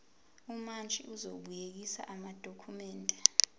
umantshi uzobuyekeza amadokhumende